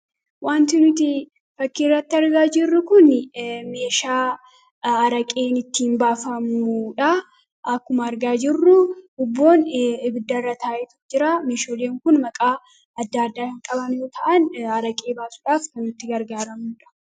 Wanti nuti fakkiirratti argaa jirru kun meeshaa araqeen ittiin baafammuudha. akkuma argaa jirru ubboon ibiddarra taa'etu jira meeshaaleen kun maqaa adda adda qaban yoo ta'an araqee baasuudhaaf kan nuti itti gargaaramuudha.